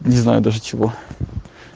не знаю даже чего